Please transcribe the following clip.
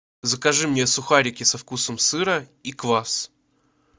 закажи мне сухарики со вкусом сыра и квас